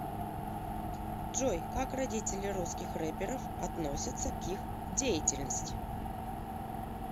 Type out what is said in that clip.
джой как родители русских рэперов относятся к их деятельности